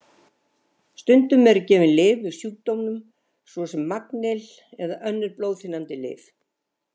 Stundum eru gefin lyf við sjúkdómnum svo sem magnýl eða önnur blóðþynnandi lyf.